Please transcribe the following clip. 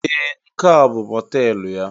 Ee! Nke a bụ mọteelụ ya?